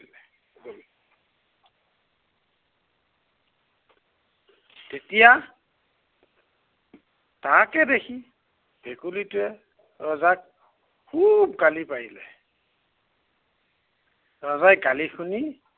তেতিয়া তাকে দেখি, ভেকুলীটোৱে, ৰজাক খুব গালি পাৰিলে। ৰজাই গালি শুনি